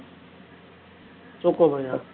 choco boy ah